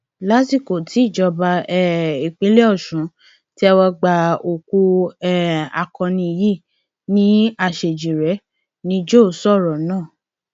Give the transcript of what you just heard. lásìkò tíjọba um ìpínlẹ ọsùn ń tẹwọ gba òkú um akọni yìí ní àṣejíire ni joe sọrọ náà